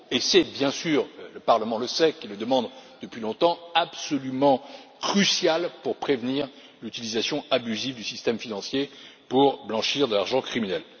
Et c'est bien sûr, le Parlement le sait il le demande depuis longtemps absolument crucial pour prévenir l'utilisation abusive du système financier pour blanchir de l'argent criminel.